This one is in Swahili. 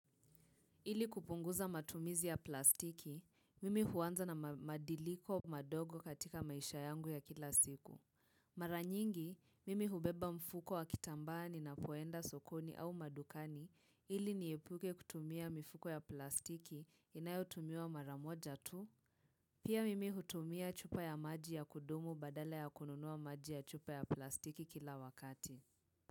Ili kupunguza matumizi ya plastiki, mimi huanza na madiliko madogo katika maisha yangu ya kila siku. Mara nyingi, mimi hubeba mfuko wa kitambani ninapoenda sokoni au madukani, ili niepuke kutumia mifuko ya plastiki, inayotumiwa maramoja tu. Pia mimi hutumia chupa ya maji ya kudumu badala ya kununua maji ya chupa ya plastiki kila wakati.